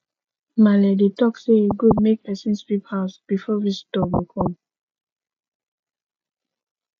maale dey talk sey e good make pesin sweep house before visitor go come